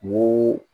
N ko